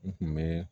N tun bɛ